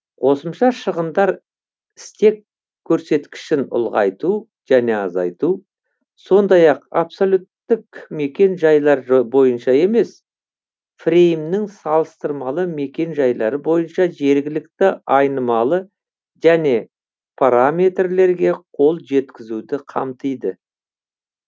қосымша шығындар стек көрсеткішін ұлғайту және азайту сондай ақ абсолюттік мекен жайлар бойынша емес фреймнің салыстырмалы мекен жайлары бойынша жергілікті айнымалы және параметрлерге қол жеткізуді қамтиды